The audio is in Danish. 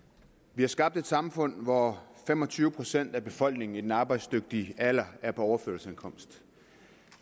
vi har skabt et samfund hvor fem og tyve procent af befolkningen i den arbejdsdygtige alder er på overførselsindkomst